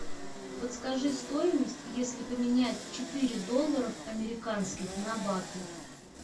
подскажи стоимость если поменять четыре доллара американских на баты